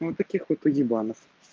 вот таких вот уебанов